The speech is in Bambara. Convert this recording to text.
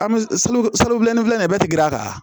An bɛ suruku solo bilenni filɛ nin ye bɛɛ tɛ gɛr'a kan